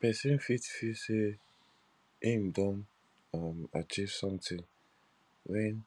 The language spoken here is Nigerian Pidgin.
person fit feel sey im don um achieve something when